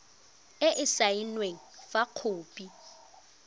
e e saenweng fa khopi